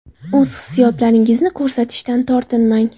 O‘z hissiyotlaringizni ko‘rsatishdan tortinmang.